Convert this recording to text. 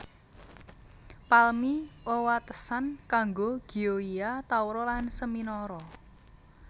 Palmi wewatesan karo Gioia Tauro lan Seminara